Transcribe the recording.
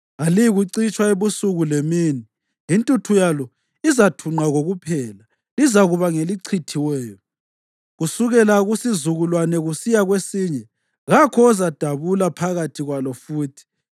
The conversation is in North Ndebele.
Aliyikucitshwa ebusuku lemini; intuthu yalo izathunqa kokuphela. Lizakuba ngelichithiweyo kusukela kusizukulwane kusiya kwesinye; kakho ozadabula phakathi kwalo futhi.